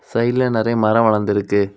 சைட்ல நரைய மர வளர்ந்திருக்கு.